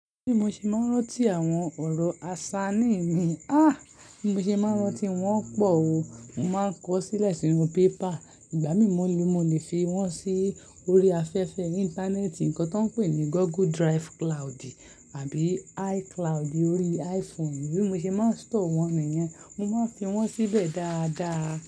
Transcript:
Bí mo ṣe máa ń rántí àwọn ọ̀rọ̀ aṣa ní ìmí, ah! Bí mo ṣe máa ń rántí wọn pọ̀ o, mo máa ń kọ sílẹ̀ sínú pépà, ìgbà mìíràn ni mo lè fi wọ́n sí orí afẹ́fẹ́ Íńtánẹ́ẹ̀tì, nǹkan tó ń pè ní Google Drive Cloud tàbí iCloud orí iPhone. Bí mo ṣe máa ń store wọ́n nìyẹn, mo máa ń fi wọ́n síbẹ̀ dáadáa.